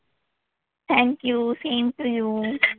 Thank you, same to you.